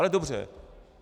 Ale dobře.